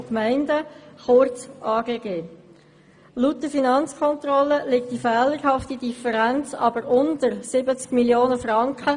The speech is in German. Laut der Finanzkontrolle liegt diese Differenz jedoch unter 70 Mio. Franken.